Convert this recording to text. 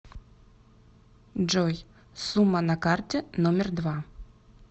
джой сумма на карте номер два